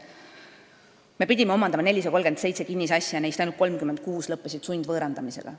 Me pidime omandama 437 kinnisasja, nendest omandamistest ainult 36 lõppesid sundvõõrandamisega.